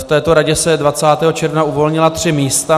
V této radě se 20. června uvolnila tři místa.